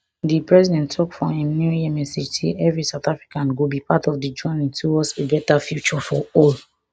di president tok for im new year message say evri south african go be part of di journey towards a better future for all